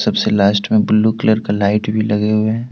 सबसे लास्ट में blue colour का लाइट भी लगे हुएं हैं।